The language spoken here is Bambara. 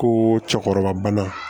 Ko cɛkɔrɔba